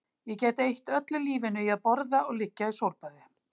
Ég gæti eytt öllu lífinu í að borða og liggja í sólbaði